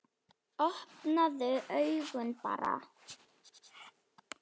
Opnaðu augun barn!